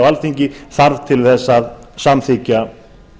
alþingi þarf til þess að samþykkja